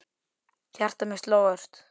Hjarta mitt sló ört.